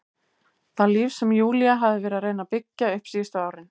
Það líf sem Júlía hafði verið að reyna að byggja upp síðustu árin.